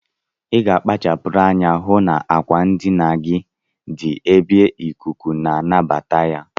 Iga akpachapu anya ihu na akwa ndinagi di ebe ikuku nabata ya.